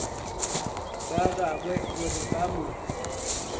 ba gagwe gore ba mo